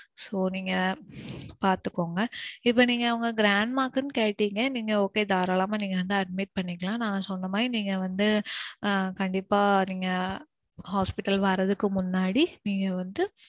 so நீங்க பாத்துக்கோங்க. இப்போ நீங்க உங்க grandma க்குன்னு கேட்டிங்க. நீங்க okay தாராளமா நீங்க வந்து admit பண்ணிக்கலாம். நான் சொன்ன மாதிரி நீங்க வந்து கண்டிப்பா நீங்க hospital வர்றதுக்கு முன்னாடி நீங்க வந்து